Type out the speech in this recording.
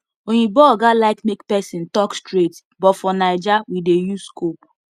oyinbo oga like make person talk straight but for naija we dey use scope